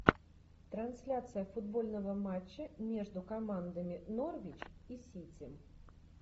трансляция футбольного матча между командами норвич и сити